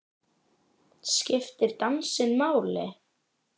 Skiptir dansinn máli?